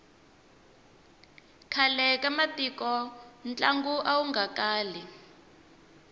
khale ka matiko ntlangu awu nga kali